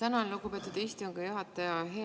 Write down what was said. Tänan, lugupeetud istungi juhataja!